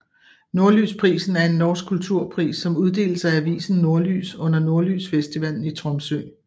Nordlysprisen er en norsk kulturpris som uddeles af avisen Nordlys under Nordlysfestivalen i Tromsø